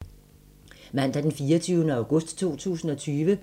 Mandag d. 24. august 2020